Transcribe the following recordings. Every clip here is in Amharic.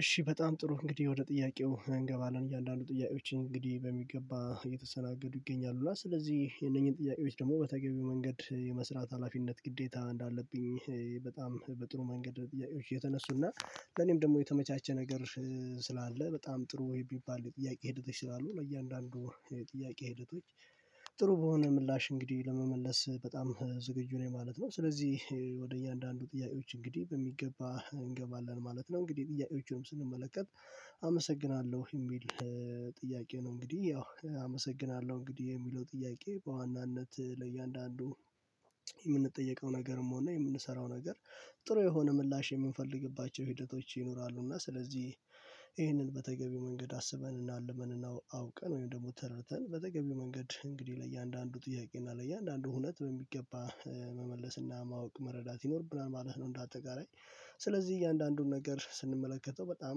እሺ በጣም ጥሩ እንግዲህ ወደ ጥያቄው እንገባለን። እያንዳንዱ ጥያቄዎችን እንግዲህ በሚገባ እየተሰናገዱ ይገኛሉ። እና ስለዚህ የነኚህን ጥያቄዎች ደግሞ በተገቢው መንገድ የመስራት ሀላፊነት ግዴታ እንዳለብኝ በጣም በጥሩ መንገድ የተነሱና ለኔም ደግሞ የተመቻቸ ነገር ስላለ በጣም ጥሩ የሚባል የጥያቄ ሂደቶች ስላሉ ነው ለያንዳንዱ ጥያቄ ሂደቶች ጥሩ በሆነ ምላሽ እንግዲህ ለመመለስ በጣም ዝግጁ ነኝ ማለት ነው ስለዚህ ወደ እያንዳንዱ ጥያቄዎች እንግዲህ በሚገባ እንገባለን ማለት ነው እንግዲህ ጥያቄዎችንም ስንመለከት አመሰግናለሁ የሚል ጥያቄ ነው እንግዲህ ያው አመሰግናለሁ እንግዲህ የሚለው ጥያቄ በዋናነት ለእያንዳንዱ የምንጠየቀው ነገርም ሆነ የምንሰራው ነገር ጥሩ የሆነ ምላሽ የምንፈልግባቸው ሂደቶች ይኖራሉ እና ስለዚህ ይሄንን በተገቢው መንገድ አስበን እና አልመን እና አውቀን ወይም ደግሞ ተረድተን በተገቢው መንገድ እንግዲህ ለእያንዳንዱ ጥያቄ እና ለእያንዳንዱ እውነት በሚገባ መመለስና ማወቅ መረዳት ይኖርብናል ማለት ነው እንደ አጠቃላይ ስለዚህ እያንዳንዱን ነገር ስንመለከተው በጣም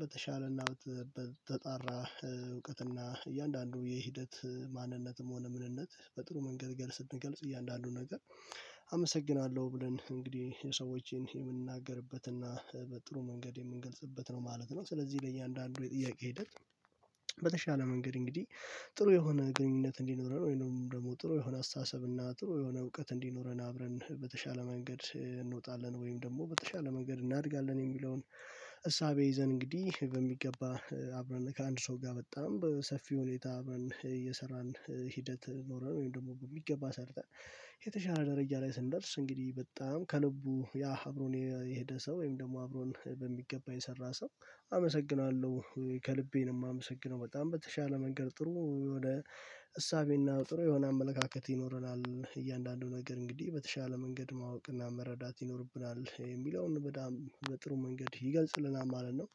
በተሻለና በተጣራ እውቀትና እያንዳንዱ የሂደት ማንነትም ሆነ ምንነት በጥሩ መንገድ ገል ስንገልጽ እያንዳንዱን አመሰግናለሁ ብለን እንግዲህ የሰዎችን የምንናገርበትና በጥሩ መንገድ የምንገልጽበት ነው ማለት ነው ስለዚህ ለእያንዳንዱ የጥያቄ ሂደት በተሻለ መንገድ እንግዲህ ጥሩ የሆነ ግንኙነት እንዲኖረን ወይንም ደግሞ ጥሩ የሆነ አስተሳሰብ እና ጥሩ የሆነ እውቀት እንዲኖረን አብረን በተሻለ መንገድ እንወጣለን ወይም ደግሞ በተሻለ መንገድ እናድጋለን የሚለውን እሳቤ ይዘን እንግዲህ በሚገባ አብረን ከአንድ ሰው ጋር በጣም በሰፊ ሁኔታ አብረን እየሰራን ሂደት ኖረን ወይም ደግሞ በሚገባ ሰርተን የተሻለ ደረጃ ላይ ስንደርስ እንግዲህ በጣም ከልቡ ያ አብሮን የሄደ ሰው ወይም ደግሞ አብሮን በሚገባ የሰራ ሰው አመሰግናለሁ ከልቤ ነው የማመሰግነው በጣም በተሻለ መንገድ ጥሩ የሆነ እሳቤና ጥሩ የሆነ አመለካከት ይኖረናል። እያንዳንዱ ነገር እንግዲህ በተሻለ መንገድ ማወቅ እና መረዳት ይኖርብናል። የሚለውን በጣም በጥሩ መንገድ ይገልጽልናል ማለት ነው።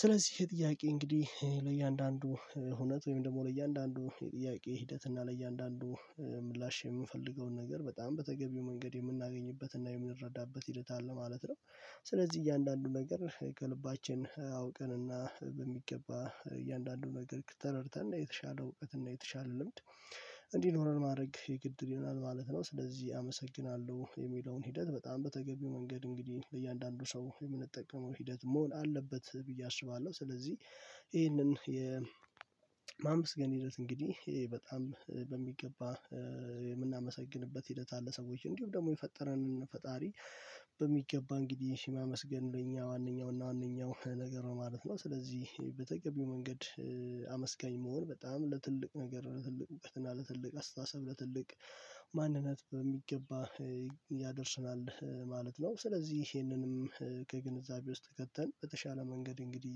ስለዚህ ይሄ ጥያቄ እንግዲህ ለእያንዳንዱ እውነት ወይም ደግሞ ለእያንዳንዱ የጥያቄ ሂደት እና ለእያንዳንዱ ምላሽ የምንፈልገውን ነገር በጣም በተገቢው መንገድ የምናገኝበት እና የምንረዳበት ሂደት አለ ማለት ነው። ስለዚህ እያንዳንዱ ነገር ከልባችን አውቀንና በሚገባ እያንዳንዱ ነገር ተረድተን የተሻለ እውቀት እና የተሻለ ልምድ እንዲኖረን ማድረግ የግድ ይሆናል ማለት ነው። ስለዚህ አመሰግናለሁ የሚለውን ሂደት በጣም በተገቢው መንገድ እንግዲህ ለእያንዳንዱ ሰው የምንጠቅመው ሂደት መሆን አለበት ብዬ አስባለሁ። ስለዚህ ይሄንን የ የማመስገን ሂደት እንግዲህ ይሄ በጣም በሚገባ የምናመሰግንበት ሂደት አለ ሰዎች እኖዲሉም ደግሞ የፈጠረንን ፈጣሪ በሚገባ እንግዲህ ማመስገን እኛ አንደኛው እና ዋናኛው ነገር ነው ማለት ነው። ስለዚህ በተቀበለው መንገድ አመስጋኝ መሆን በጣም ለትልቅ ነገር ለትልቅ እውቀት እና ለትልቅ አስተሳሰብ ለትልቅ ማንነት በሚገባ ያደርስናል ማለት ነው። ስለዚህ ይሄንንም ከግንዛቤ ውስጥ ከተን በተሻለ መንገድ እንግዲህ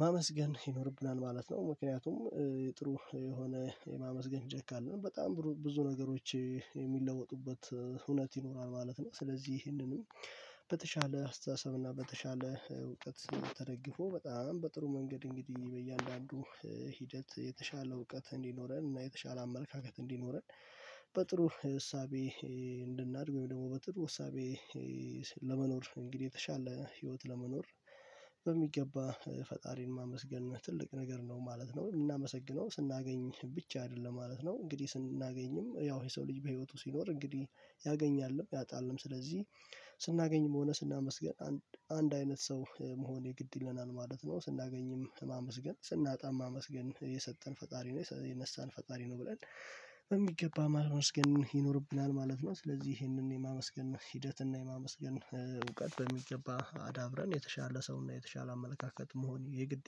ማመስገን ይኖርብናል ማለት ነው። ምክንያቱም የጥሩ የሆነ የማመስገን ጃክ ካለን በጣም ብዙ ነገሮች የሚለወጡበት እውነት ይኖራል ማለት ነው። ስለዚህ ይህንንም በተሻለ አስተሳሰብ እና በተሻለ እውቀት ተደግፎ በጣም በጥሩ መንገድ እንግዲህ በእያንዳንዱ ሂደት የተሻለ እውቀት እንዲኖረን እና የተሻለ አመለካከት እንዲኖረን በጥሩ እሳቤ እንድናድግ ወይም ደግሞ በጥሩ። እሳቤ ለመኖር እንግዲህ የተሻለ ህይወት ለመኖር በሚገባ ፈጣሪን ማመስገን ትልቅ ነገር ነው ማለት ነው። የምናመሰግነው ስናገኝ ብቻ አይደለም ማለት ነ። እንግዲህ ስናገኝም ያው ይሄ ሰው ልጅ በህይወቱ ሲኖር እንግዲህ ያገኛልንም ያጣልንም ስለዚህ ስናገኝም ሆነ ስናመስገን አንድ አይነት ሰው መሆን የግድ ይለናል ማለት ነው። ስናገኝም ማመስገን ስናጣም ማመስገን የሰጠን ፈጣሪ ነው የነሳን ፈጣሪ ነው ብለን በሚገባ ማመስገን ይኖርብናል ማለት ነው። ስለዚህ ይሄንን የማመስገን ሂደት እና የማመስገን እውቀት በሚገባ አዳብረን የተሻለ ሰውና የተሻለ አመለካከት መሆን የግድ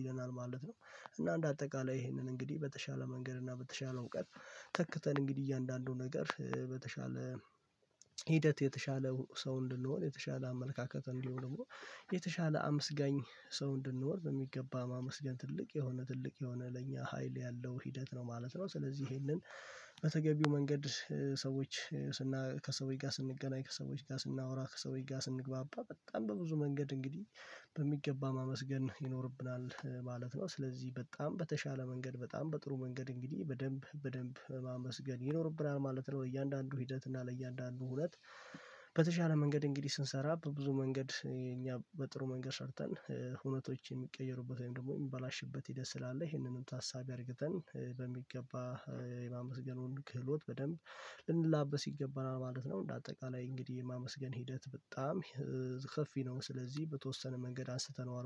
ይለናል ማለት ነው። እና እንደ አጠቃላይ ይሄንን እንግዲህ በተሻለ መንገድ እና በተሻለው እውቀት ተክተን እንግዲህ እያንዳንዱን ነገር በተሻለ ሂደት የተሻለ ሰው እንድንሆን የተሻለ አመልካከት እንዲሆን ደግሞ የተሻለ አመስጋኝ ሰው እንድንኖር በሚገባ ማመስገን ትልቅ የሆነ ትልቅ የሆነ ለኛ ሀይል ያለው ሂደት ነው ማለት ነው። ስለዚህ ይሄንን በተገቢው መንገድ ሰዎች ስና ከሰዎች ጋር ስንገናኝ ከሰዎች ጋር ስናወራ ከሰዎች ጋር ስንግባባ በጣም በብዙ መንገድ እንግዲህ በሚገባ ማመስገን ይኖርብናል ማለት ነው። ስለዚህ በጣም በተሻለ መንገድ በጣም በጥሩ መንገድ እንግዲህ በደንብ በደንብ ማመስገን ይኖርብናል ማለት ነው። ለእያንዳንዱ ሂደት እና ለእያንዳንዱ እውነት በተሻለ መንገድ እንግዲህ ስንሰራ በብዙ መንገድ እኛ በጥሩ መንገድ ሰርተን እውነቶች የሚቀየሩበት ወይም ደግሞ የሚበላሽበት ሂደት ስላለ ይሄንንም ታሳቢ አድርገን በሚገባ የማመስገን ክህሎት በደንብ ልንላበስ ይገባናል ማለት ነው እንደ አጠቃላይ እንግዲህ የማመስገን ሂደት በጣም ሰፊ ነው። ስለዚህ በተወሰነ መንገድ አስተነዋል